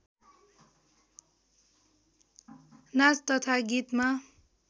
नाच तथा गीतमा